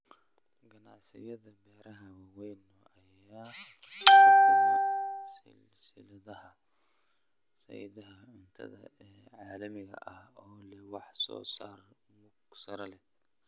Ganacsiyada beeraha waaweyn ayaa xukuma silsiladaha sahayda cuntada ee caalamiga ah oo leh wax soo saar mug sare leh.